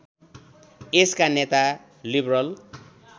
यसका नेता लिबरल